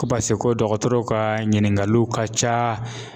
Ko pase ko dɔgɔtɔrɔw ka ɲininkaliw ka ca.